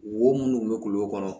Wo munnu be kulo kɔnɔ